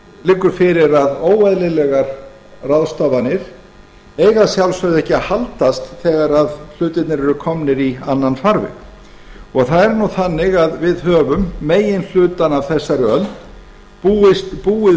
liggur fyrir að óeðlilegar ráðstafanir eiga að sjálfsögðu ekki að haldast þegar hlutirnir eru komnir í annan farveg það er nú þannig að við höfum meginhlutann af þessari öld búið